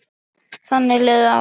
Þannig liðu árin.